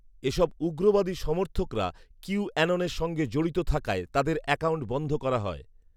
এ সব উগ্রবাদী সমর্থকরা কিউঅ্যাননের সঙ্গে জড়িত থাকায় তাদের অ্যাকাউন্ট বন্ধ করা হয়